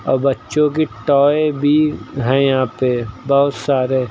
और बच्चों की टॉय भी हैं यहां पे बहुत सारे।